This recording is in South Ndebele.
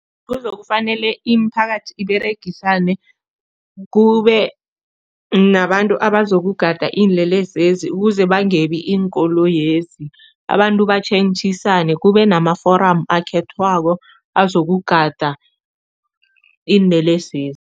Kuzokufanele imiphakathi iberegisane, kube nabantu abazokugada iinlelesezi ukuze bangebi iinkoloyezi. Abantu batjhentjhisane, kube nama-forum akhethwako azokugada iinlelesezi.